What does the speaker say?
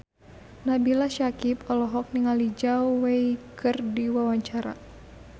Nabila Syakieb olohok ningali Zhao Wei keur diwawancara